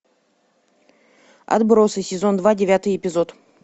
отбросы сезон два девятый эпизод